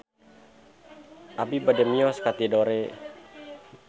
Abi bade mios ka Tidore